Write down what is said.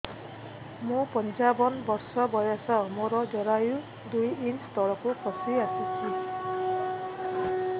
ମୁଁ ପଞ୍ଚାବନ ବର୍ଷ ବୟସ ମୋର ଜରାୟୁ ଦୁଇ ଇଞ୍ଚ ତଳକୁ ଖସି ଆସିଛି